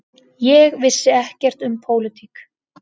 Ég vissi ekkert um pólitík.